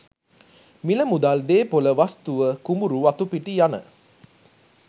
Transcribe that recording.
මිල මුදල්, දේපොළ වස්තුව, කුඹුරු වතුපිටි යන